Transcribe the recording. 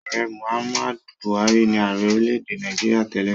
Ààrẹ Muhammad Buhari ni ààrẹ orílẹ̀-èdè Nàìjíríà tẹ́lẹ̀.